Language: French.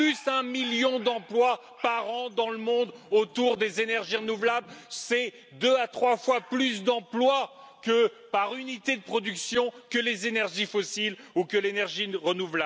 Un million d'emplois sont créés par an dans le monde autour des énergies renouvelables, c'est deux à trois fois plus d'emplois par unité de production que les énergies fossiles ou l'énergie nucléaire.